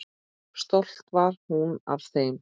Stolt var hún af þeim.